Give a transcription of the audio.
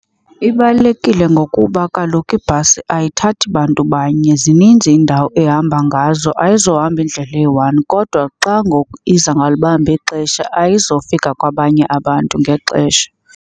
Ibalulekile ngokuba kaloku ibhasi ayithathi bantu banye, zininzi iindawo ehamba ngazo ayizuhamba indlela eyi-one. Kodwa xa ngoku iza ngalibambi ixesha ayizofika kwabanye abantu ngexesha.